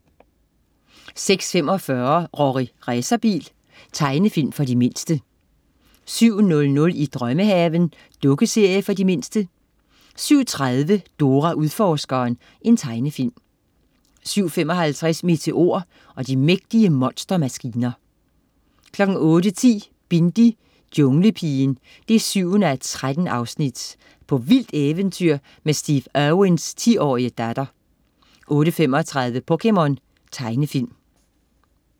06.45 Rorri Racerbil. Tegnefilm for de mindste 07.00 I drømmehaven. Dukkeserie for de mindste 07.30 Dora Udforskeren. Tegnefilm 07.55 Meteor og de mægtige monstermaskiner 08.10 Bindi: Junglepigen 7:13. På vildt eventyr med Steve Irwins 10-årige datter 08.35 POKéMON. Tegnefilm